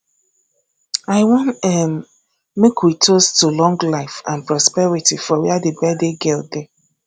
i wan um make we toast to long life and prosperity for where the birthday girl dey